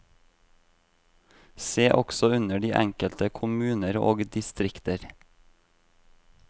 Se også under de enkelte kommuner og distrikter.